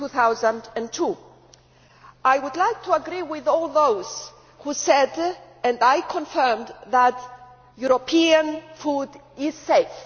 2002. I would agree with all those who said, as I confirmed, that European food is safe.